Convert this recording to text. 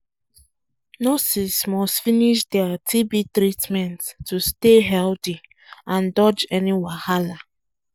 nurses must finish dia tb treatment to stay healthy and dodge any wahala.